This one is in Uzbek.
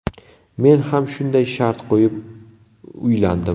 Men ham shunday shart qo‘yib uylandim.